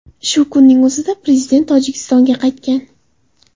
Shu kunning o‘zida prezident Tojikistonga qaytgan.